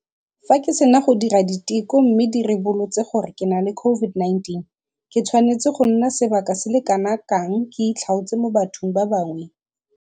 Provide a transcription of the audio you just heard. Fa ke sena go dira diteko mme di ribolotse gore ke na le COVID-19, ke tshwanetse go nna sebaka se le kanakang ke itlhaotse mo bathong ba bangwe?